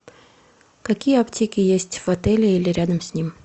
какие аптеки есть в отеле или рядом с ним